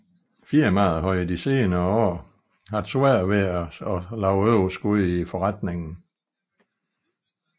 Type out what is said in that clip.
Firmaet havde i de seneste år haft svært ved at skabe et overskud i foretningen